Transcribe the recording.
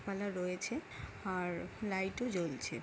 Parlour রয়েছে আর light ও জ্বলছে।